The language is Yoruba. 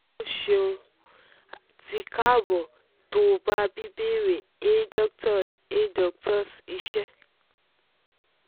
o ṣeun ti kaabo to ba bíbéèrè a doctor's a doctor's iṣẹ